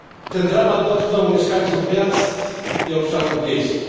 Ten dramat dotknął mieszkańców miast i obszarów wiejskich.